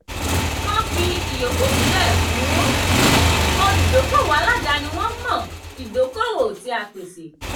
kán fi ìyókù sílẹ̀ fún olùdókoòwò aládaáni wọ́n mọ̀ ìdókoòwò tí a pèsè.